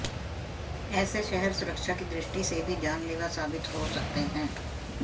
ऐसे शहर सुरक्षा की दृष्टि से भी जानलेवा साबित हो सकते हैं